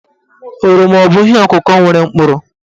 Oroma abụ ihe ọ̀kụ̀kọ̀ nwere mkpụrụ?